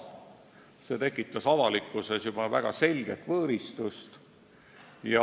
Juba see tekitas avalikkuses selget võõristust.